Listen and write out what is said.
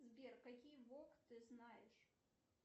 сбер какие вог ты знаешь